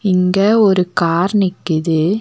இங்க ஒரு கார் நிக்கிது.